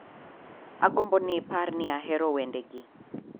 Agombo ni ipar ni ahero wendegi